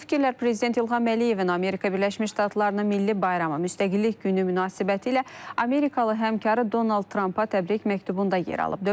Bu fikirlər prezident İlham Əliyevin Amerika Birləşmiş Ştatlarının Milli bayramı müstəqillik günü münasibətilə Amerikalı həmkarı Donald Trampa təbrik məktubunda yer alıb.